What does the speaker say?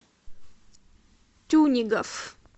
тюнегов